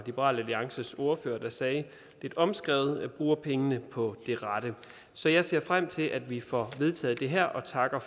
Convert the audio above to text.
liberal alliances ordfører tror jeg sagde lidt omskrevet bruger pengene på det rette så jeg ser frem til at vi får vedtaget det her og takker